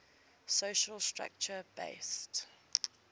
social structure based